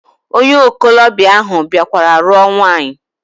Onye okolobia ahu biakwara ruo nwaanyi.